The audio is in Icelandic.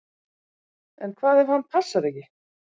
En hvað ef hann passar ekki?